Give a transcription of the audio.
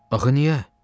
Axı niyə?